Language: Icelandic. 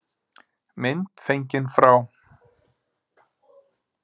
Mynd fengin frá